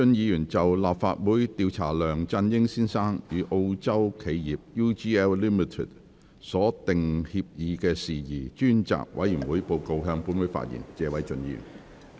謝偉俊議員就"立法會調查梁振英先生與澳洲企業 UGL Limited 所訂協議的事宜專責委員會報告"，向本會發言。